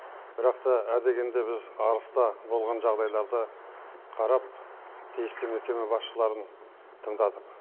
бірақ та ә дегенде біз арыста болған жағдайларды қарап тиісті мекеме басшыларын тыңдадық